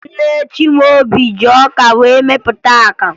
Nne Chimaobi ji ọka wee mepụta akamụ